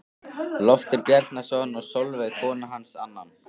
Loftur Bjarnason og Sólveig kona hans annan.